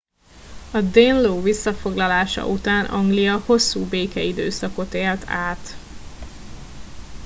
a danelaw visszafoglalása után anglia hosszú békeidőszakot élt át